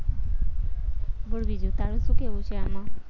બોલ બીજું તારું શું કેવું છે આમાં